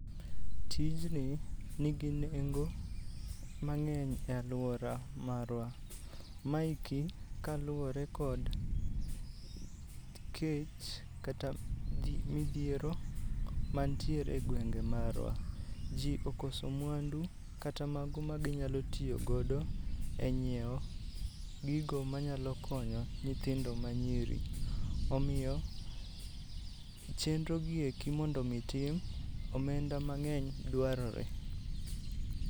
Tijni nigi nengo mang'eny e alwora marwa. Maeki kaluwore kod kech kata dhi, midhiero mantiere e gwenge marwa. Ji okoso mwandu kata mago maginyalo tiyogodo e nyiewo gigo manyalo konyo nyithindo manyiri. Omiyo chenro gieki mondo otim, omenda mang'eny dwarore.